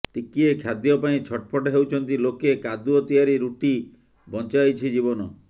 ଟିକିଏ ଖାଦ୍ୟ ପାଇଁ ଛଟପଟ ହେଉଛନ୍ତି ଲୋକେ କାଦୁଅ ତିଆରି ରୁଟି ବଞ୍ଚାଇଛି ଜୀବନ